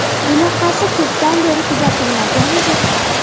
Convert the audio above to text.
Bunaqasi ko‘pdan beri kuzatilmagan edi.